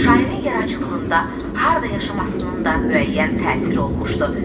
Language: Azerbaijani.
Şairin yaradıcılığında harda yaşamasının da müəyyən təsiri olmuşdu.